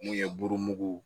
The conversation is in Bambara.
Mun ye burumugu